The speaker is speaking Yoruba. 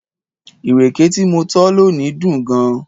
Ìrèké tí mo tọ́ lónìí dùn gan-an